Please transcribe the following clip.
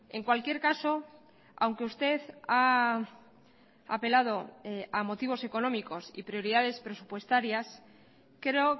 en cualquier caso aunque usted ha apelado a motivos económicos y prioridades presupuestarias creo